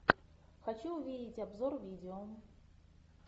хочу увидеть обзор видео